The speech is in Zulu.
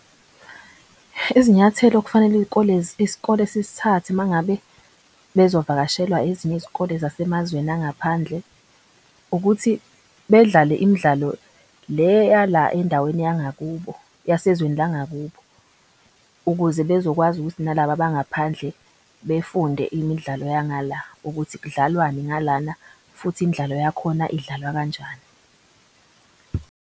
Izinyathelo okufanele iskole sisithathe mangabe bezovakashelwa ezinye izikole zasemazweni angaphandle. Ukuthi bedlale imidlalo le yala endaweni yangakubo yasezweni langakubo, ukuze bezokwazi ukuthi nalaba bangaphandle befunde imidlalo yangala. Ukuthi kudlalwani ngalana futhi imidlalo yakhona idlalwa kanjani.